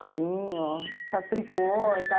Cozinho, faço tricô e tal.